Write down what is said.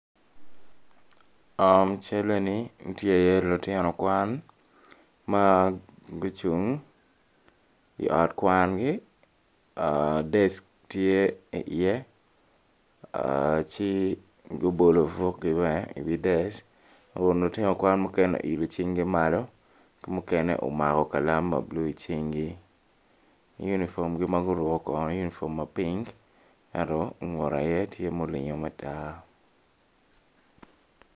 I cal eni tye i ye lutino kwan ma gucung i ot kwangi desk tye i ye ci gubolo bukgi bene i wi desk kun lutino kwan muken i oilo cing gi malo mukene omako kalam ma blue i cing gi unifomgi maguruko kore unifom ma pink ento ngute aye tye ma olingo ma tar.